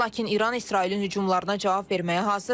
Lakin İran İsrailin hücumlarına cavab verməyə hazırdır.